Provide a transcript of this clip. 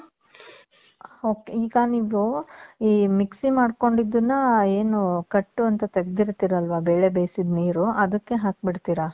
ok, ಈಗ ನೀವೂ ಈ ?????? ಮಾಡ್ಕೊಂಡಿದ್ದುನ್ನಾ, ಏನು ಕಟ್ಟು ಅಂತ ತೆಗ್ದಿರ್ತೀರಲ್ವ, ಬೇಳೆ ಬೇಸಿದ್ ನೀರು, ಅದುಕ್ಕೆ ಹಾಕ್ ಬಿಡ್ತೀರಾ?